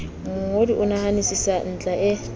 mongodi o nahanisisa ntlha e